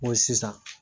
N ko sisan